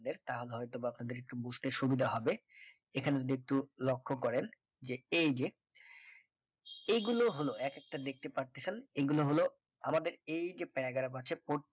তাহলে হয় তো বা আপনাদের একটু বুঝতে সুবিধা হবে এখানে যদি একটু লক্ষ্য করেন যে এই যে এগুলো হল একটা দেখতে পাচ্ছেন এগুলো হলো আমাদের এই যে paragraph আছে